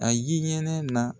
A ye ɲɛnɛ na